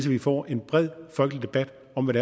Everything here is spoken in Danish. vi får en bred folkelig debat om hvad